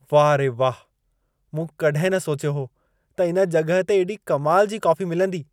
वाह रे वाह! मूं कॾहिं न सोचियो हो त इन जॻहि ते एॾी कमाल जी कॉफी मिलंदी।